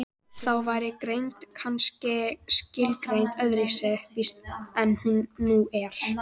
þá væri greind kannski skilgreind öðru vísi en nú er